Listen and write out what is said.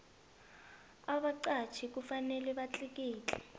abaqatjhi kufanele batlikitle